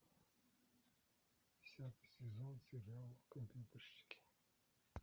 десятый сезон сериал компьютерщики